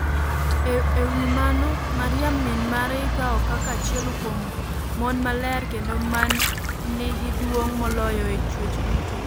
E wi mano, Mariam min mare ikawo kaka achiel kuom mon maler kendo ma nigi duong' moloyo e chwech duto.